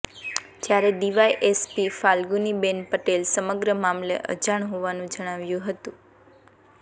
જ્યારે ડીવાયએસપી ફાલ્ગુનીબેન પટેલ સમગ્ર મામલે અજાણ હોવાનું જણાવ્યું હતું